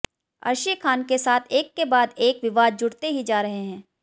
अर्शी खान के साथ एक के बाद एक विवाद जुड़ते ही जा रहे हैं